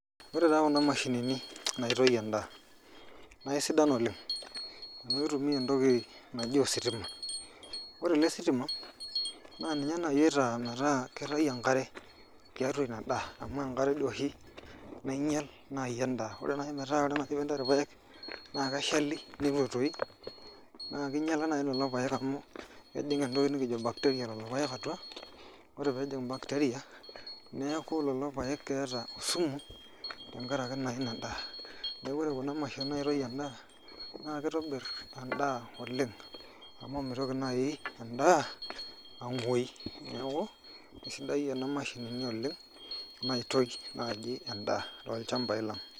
Ore taa kuna mashinini naitoi endaa naa kesidan oleng' amu itumia entoki naji ositima ore ele sitima naa ninye naai oitaa metaa kitayu enkare tiatua ina daa amu enkare doo oshi nainyial naai endaa ore naai metaa ore ena saa enikinchori irpaek naa keshali naa kinyiala naai lelo paek amu kejing' entoki nikijo bacteria lelo paek atua ore pee ejing' bacteria neeku lelo paek keeta esimu tenakaraki naa ina daa, neeku ore kuna mashinini naaitoi endaa naa kitobirr endaa oleng' amu mitoki naai endaa ang'uoi neeku kesidan nena mashinini oleng' naaitoi naai endaa tolchambai lang'.